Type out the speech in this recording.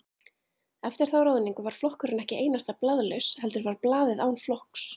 Eftir þá ráðningu var flokkurinn ekki einasta blaðlaus, heldur var blaðið án flokks.